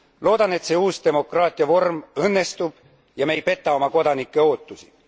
Loodan, et see uus demokraatia vorm õnnestub ja me ei peta oma kodanike ootusi.